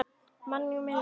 Manninn með ljáinn.